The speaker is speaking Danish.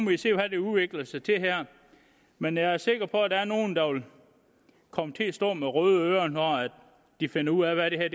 vi se hvad det udvikler sig til her men jeg er sikker på at der er nogen der vil komme til at stå med røde ører når de finder ud af hvad det